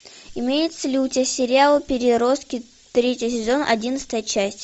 имеется ли у тебя сериал переростки третий сезон одиннадцатая часть